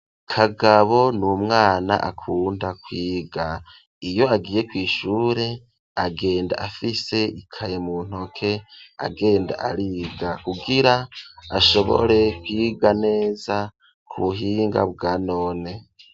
kagabo ni umwana akunda kwiga iyo agiye kw,ishure agenda afise ikaye mu ntoke agenda ariga kugira ashobore kwiga neza ku buhinga bwa none.